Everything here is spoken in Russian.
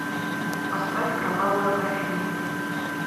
поставь кровавая графиня